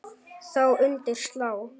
Þá undir slá.